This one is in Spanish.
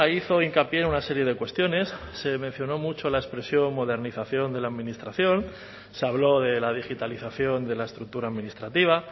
hizo hincapié en una serie de cuestiones se mencionó mucho la expresión modernización de la administración se habló de la digitalización de la estructura administrativa